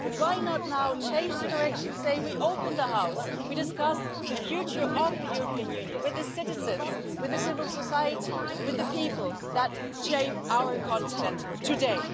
But why not now change the direction and say we'll open the House and discuss the future of the European Union with the citizens, with civil society, with the people that shape our continent today?